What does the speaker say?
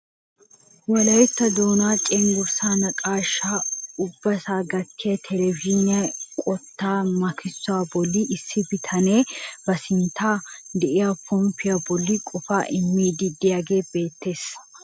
Wolaytta doonaa cengurssaan naqashshaa ubbasaa gattiyo televizhinne eqotaa makissuwaa bolli issi bitanee ba sinttan de'iyaa ponppaa bolli qofaa immiidi de'iyaagee beettees.